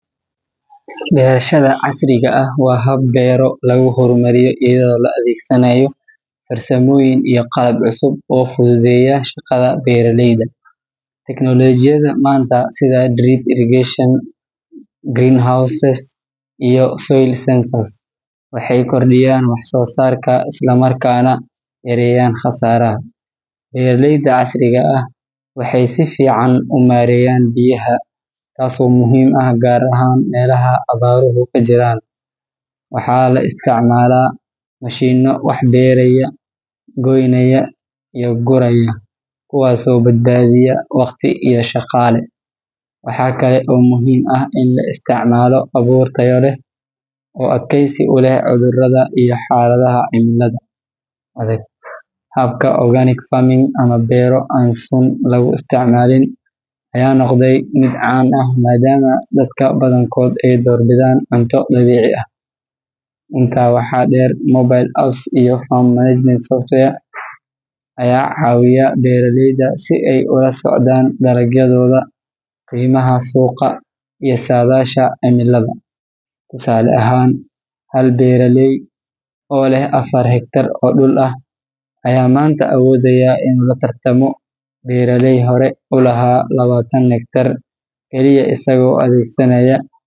Beerashada casriga ah waa hab beero lagu horumariyo iyadoo la adeegsanayo farsamooyin iyo qalab cusub oo fududeeya shaqada beeraleyda. Teknoolojiyadda maanta sida drip irrigation, greenhouses, iyo soil sensors waxay kordhiyaan wax-soo-saarka isla markaana yareeyaan khasaaraha. Beeraleyda casriga ah waxay si fiican u maareeyaan biyaha, taasoo muhiim ah gaar ahaan meelaha abaaruhu ka jiraan. Waxaa la isticmaalaa mashiinno wax beeraya, goynaya iyo guraya, kuwaasoo badbaadiya waqti iyo shaqaale. Waxa kale oo muhiim ah in la isticmaalo abuur tayo leh oo adkaysi u leh cudurrada iyo xaaladaha cimilada adag. Habka organic farming ama beero aan sun lagu isticmaalin ayaa noqday mid caan ah maadaama dadka badankood ay doorbidaan cunto dabiici ah. Intaa waxaa dheer, mobile apps iyo farm management software ayaa caawiya beeraleyda si ay ula socdaan dalagyadooda, qiimaha suuqa, iyo saadaasha cimilada. Tusaale ahaan, hal beeraley oo leh afar hektar oo dhul ah ayaa maanta awoodaya inuu la.